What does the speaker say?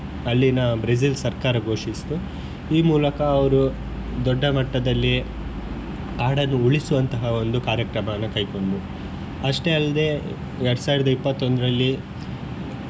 ಅಲ್ಲಿನ ಬ್ರೆಜಿಲ್ ಸರ್ಕಾರ ಘೋಷಿಸಿತು ಈ ಮೂಲಕ ಅವರು ದೊಡ್ಡ ಮಟ್ಟದಲ್ಲಿ ಕಾಡನ್ನು ಉಳಿಸುವಂತಹ ಒಂದು ಕಾರ್ಯಕ್ರಮವನ್ನು ಕೈಗೊಂಡರು ಅಷ್ಟೇ ಅಲ್ಲದೆ ಎರಡ್ ಸಾವಿರದ ಇಪ್ಪತ್ತ ಒಂದ್ರಲ್ಲಿ.